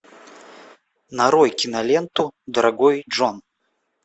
нарой киноленту дорогой джон